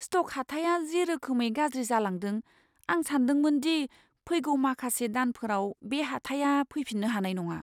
Stock हाथाइया जे रोखोमै गाज्रि जालांदों, आं सानदोंमोन दि फैगौ माखासे दानफोराव बे हाथाइया फैफिननो हानाय नङा।